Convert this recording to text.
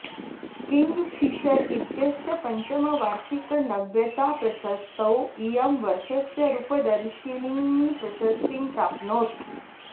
king फिषर् इत्यस्य पञ्चमवार्षिकनव्यताप्रशस्तौ इयं वर्षस्य रूपदर्शिनी प्रशस्तिं प्राप्नोत्